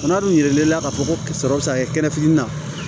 O fana dun yiralen la k'a fɔ ko sɔrɔ bɛ se ka kɛ kɛnɛ fitini na